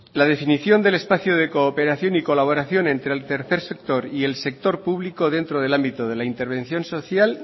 la definición del espacio de cooperación y colaboración entre el tercer sector y el sector público dentro del ámbito de la intervención social